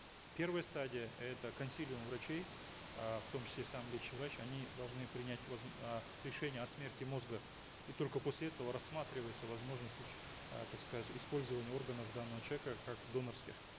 первая стадия это консилиум врачей э в том числе сам лечащий врач они должны принять э решение о смерти мозга и только после этого рассматривается возможность э так сказать использования органов данного человека как донорских